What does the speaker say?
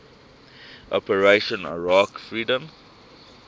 operation iraqi freedom